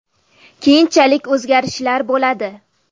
Keyinchalik o‘zgarishlar bo‘ladi.